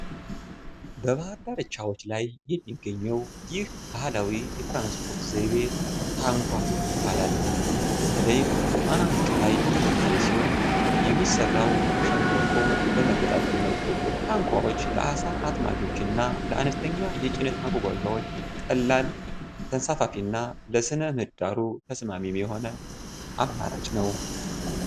በባህር ዳርቻዎች ላይ የሚገኘው ይህ ባህላዊ የትራንስፖርት ዘይቤ "ታንኳ" ይባላል። በተለይም በጣና ሐይቅ ላይ የሚታይ ሲሆን፣ የሚሠራው ከሸምበቆ በመገጣጠም ነው። ታንኳዎች ለዓሣ አጥማጆች እና ለአነስተኛ የጭነት ማጓጓዣዎች ቀላል፣ ተንሳፋፊ እና ለሥነ-ምህዳሩ ተስማሚ የሆነ አማራጭ ናቸው።